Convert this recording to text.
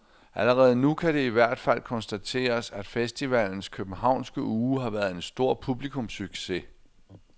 Allerede nu kan det i hvert fald konstateres, at festivalens københavnske uge har været en stor publikumssucces.